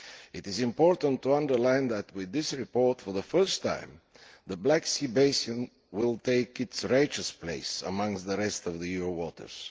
It is important to underline that with this report, for the first time, the Black Sea basin will take its rightful place among the rest of the EU waters.